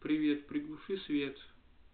привет приглуши свет